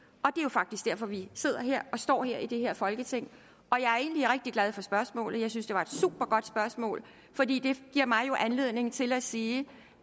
faktisk derfor vi sidder her og står her i det her folketing jeg er egentlig rigtig glad for spørgsmålet jeg synes det er et supergodt spørgsmål fordi det jo giver mig anledning til at sige